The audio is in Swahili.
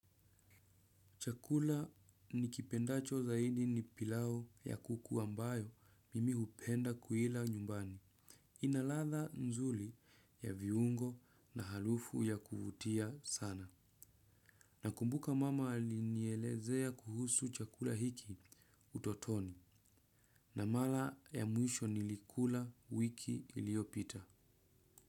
Chakula nikipendacho zaidi ni pilau ya kuku ambayo mimi hupenda kuila nyumbani. Ina ladha nzuri ya viungo na harufu ya kuvutia sana. Nakumbuka mama alinielezea kuhusu chakula hiki utotoni. Na mara ya mwisho nilikula wiki iliyopita.